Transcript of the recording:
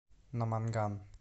наманган